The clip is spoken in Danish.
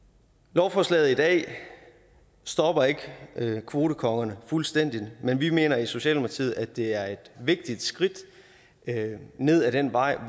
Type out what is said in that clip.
lovforslaget i dag stopper ikke kvotekongerne fuldstændig men vi mener i socialdemokratiet at det er et vigtigt skridt ned ad den vej